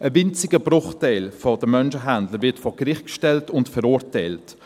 Ein winziger Bruchteil der Menschenhändler wird vor Gericht gestellt und verurteilt.